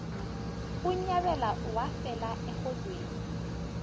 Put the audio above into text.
unyabela wafela erholweni